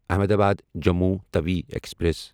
Ahmedabad Jammu Tawi express